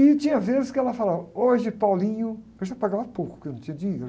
E tinha vezes que ela falava, hoje... Eu já pagava pouco, porque eu não tinha dinheiro.